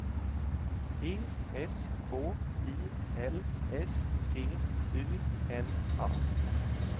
E S K I L S T U N A